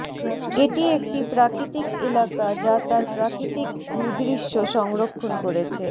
এটি একটি প্রাকৃতিক এলাকা যা তার প্রাকৃতিক ভূদৃশ্য সংরক্ষণ করেছে